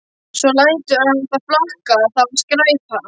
Svo lætur hann það flakka: Það var skræpa